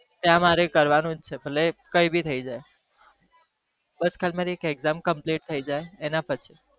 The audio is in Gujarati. ત્યાં મારે કરવા નું જ છે ભલે કઈ બી થઇ જાય